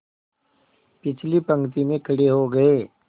पिछली पंक्ति में खड़े हो गए